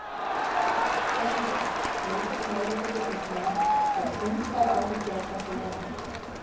BENEDIKT: Mikill meiri hluti þingmanna hefur þungar áhyggjur af þessu máli.